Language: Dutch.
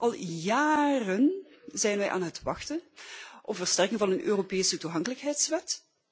Al jaren zijn wij aan het wachten op de versterking van een Europese toegankelijkheidswet.